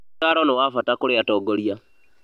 ũtaaro nĩ wa bata kũrĩ atongoria